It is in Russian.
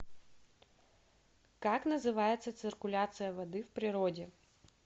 как называется циркуляция воды в природе